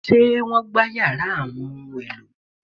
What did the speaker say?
Ṣé wọ́n gbá yàrá àwọn ohun-èlò?